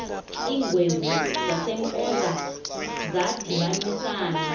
iingwevu zasempoza zadibanisana